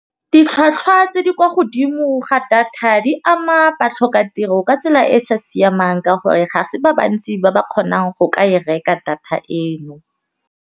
Ditlhwatlhwa tse di kwa godimo ga data di ama ba tlhoka tiro ka tsela e e sa siamang ka gore, ga se ba bantsi ba ba kgonang go ka e reka data eno.